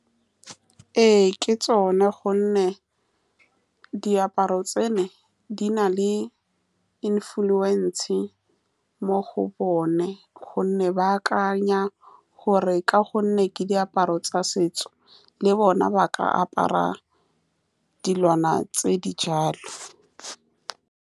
Ee, ke tsone, ka gonne diaparo tseno di na le influence mo go bone, ka gonne ba akanya gore, ka gonne ke diaparo tsa setso le bona ba ka apara dilwana tse di jalo.